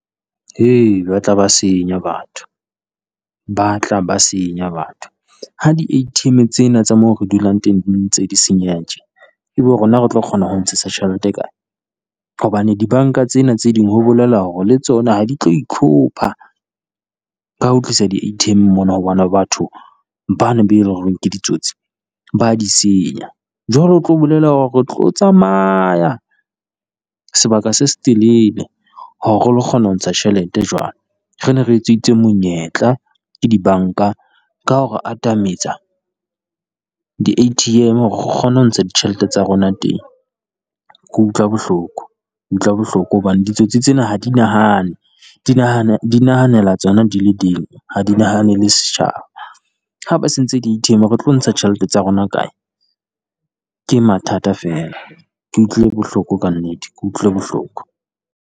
Ba tla ba senya batho, ba tla ba senya batho ha di A_T_M tsena tsa moo re dulang teng di ntse di senyeha tje. Ebe rona re tlo kgona ho ntshetsa tjhelete kae? ka hobane dibanka tsena tse ding, ho bolela hore le tsona ha di tlo itlhopha ka ho tlisa di A_T_M mona ho bona batho bane ba e leng hore ke ditsotsi, ba di senya. Jwale ho tlo bolela hore re tlo tsamaya sebaka se se telele, hore re lo kgona ho ntsha tjhelete jwale, re ne re etsetsuwe monyetla ke dibanka ka hore atametsa di A_T_M hore re kgone ho ntsha tjhelete tsa rona teng. Ke utlwa bohloko, utlwa bohloko hobane ditsotsi tsena ha di nahane, di nahana di nahanela tsona di le ding, ha di nahanele setjhaba. Ha ba sentse di A_T_M re tlo ntsha tjhelete tsa rona kae? Ke mathata feela ke utlwile bohloko ka nnete, ke utlwile bohloko.